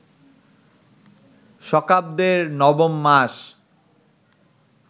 শকাব্দের নবম মাস